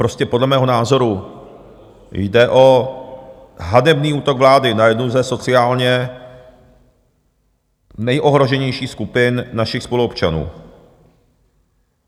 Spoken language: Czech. Prostě podle mého názoru jde o hanebný útok vlády na jednu ze sociálně nejohroženějších skupin našich spoluobčanů.